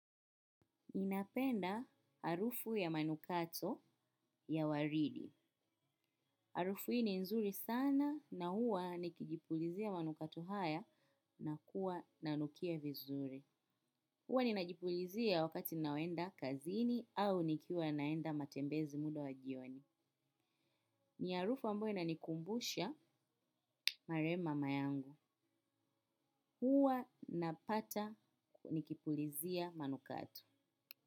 Inapenda harufu ya manukato ya waridi. Harufu hii nzuri sana na huwa nikijipulizia manukato haya na kuwa nanukia vizuri. Huwa ninajipulizia wakati naenda kazini au nikiwa naenda matembezi muda wa jioni. Ni harufu ambayo inanikumbusha marehemu mama yangu. Huwa napata nikipulizia manukato.